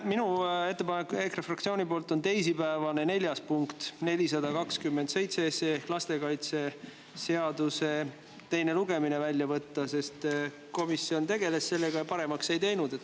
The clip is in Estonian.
Minu ettepanek EKRE fraktsiooni nimel on teisipäevane neljas punkt, 427 SE ehk lastekaitseseaduse teine lugemine, välja võtta, sest komisjon tegeles sellega, aga paremaks seda ei teinud.